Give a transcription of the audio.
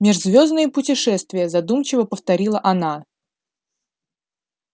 межзвёздные путешествия задумчиво повторила она